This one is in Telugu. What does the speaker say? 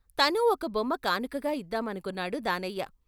తనూ ఒక బొమ్మ కానుకగా ఇద్దామనుకున్నాడు దానయ్య.